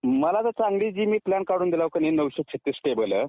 मला तर चांगली जो मी प्लॅन काढून दिला नऊशे छत्तीस पेयेबल आहे